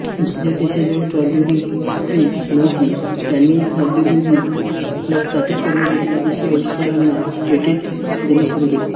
ज्या देशांजवळ प्रौद्योगिकी नव्हती त्यांनी प्रौद्योगिकी ला स्थापित करण्यासाठी विदेशी आविष्कारांना पेटेंट देने सुरू केले